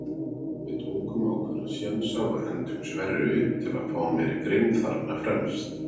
Við tókum ákveðna sénsa og hentum Sverri upp til að fá meiri grimmd þarna fremst.